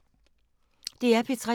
DR P3